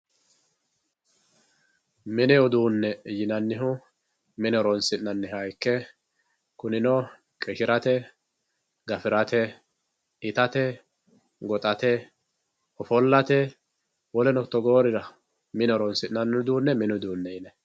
mini uduunne yinannihu mine horoonsi'nanniho ikki kuninno qishirate gafirate itate goxate ofollate woleno togoorira mine horoonsi'nay uduunne mini uduunne yinay.